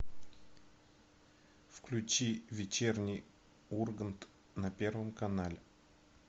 включи вечерний ургант на первом канале